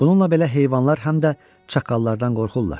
Bununla belə heyvanlar həm də çaqqallardan qorxurlar.